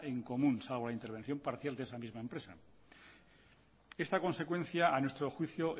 en común salvo la intervención parcial de esa misma empresa esta consecuencia a nuestro juicio